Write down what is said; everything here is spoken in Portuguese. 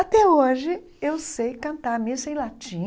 Até hoje eu sei cantar missa em latim,